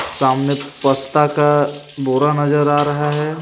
सामने पत्ता का बोरा नजर आ रहा है.